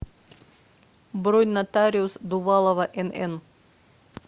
бронь нотариус дувалова нн